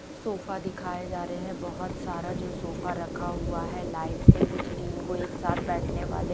sofa दिखाए जा रहे है बहोत सारा जो सोफा रखा हुआ है लाइन से कुछ तीन को एक साथ बैठने वाले--